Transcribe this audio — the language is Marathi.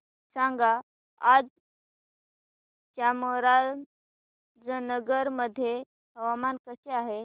सांगा आज चामराजनगर मध्ये हवामान कसे आहे